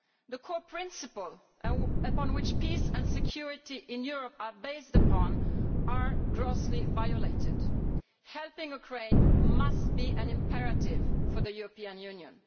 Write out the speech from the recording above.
The core principles upon which peace and security in Europe are based are being grossly violated. Helping Ukraine must be an imperative for the European Union.